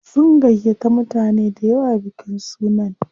Sun gayyata mutane dayawa bikin sunan.